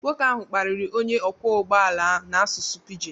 Nwoke ahụ kparịrị onye ọkwọ ụgbọ ala n'asụsụ pidgin.